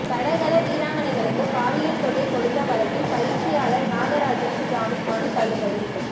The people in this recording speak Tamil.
தடகள வீராங்கனைகளுக்கு பாலியல் தொல்லை கொடுத்த வழக்கில் பயிற்சியாளர் நாகராஜனின் ஜாமின் மனு தள்ளுபடி